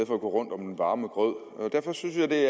for at gå rundt om den varme grød derfor synes jeg det